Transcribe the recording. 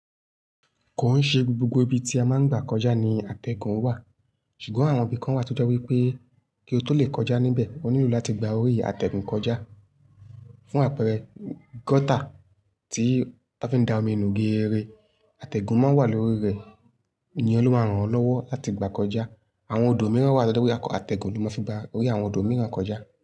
Kò ń ṣe gbogbo ibi tí a máa ń gbà kọjá ni àtẹ̀gùn wà, ṣùgbọ́n àwọn ibi kan wà tí ó jẹ́ wípé kí o tó lè kọjá níbẹ̀, o nílò láti gba orí àtẹ̀gùn kọjá. Fún àpẹẹrẹ gọ́tà tí wọ́n fi ń da omi nú geeré, àtẹ̀gùn máa ń wà lórí rẹ̀, iyen ló máa ràn won lọ́wọ́ láti gbà kọjá. Àwọn odò mìíràn wà to je pe àtẹ̀gùn ló máa fi gba orí àwọn odò mìíràn kọjá.